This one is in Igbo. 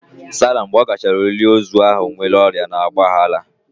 Sara mgbe ọ gachara olili ozu ahụ nwere ọrịa na ọgba aghara.